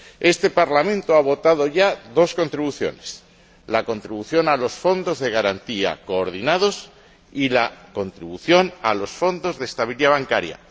Este Parlamento ha votado ya dos contribuciones la contribución a los fondos de garantía coordinados y la contribución a los fondos de estabilidad bancaria.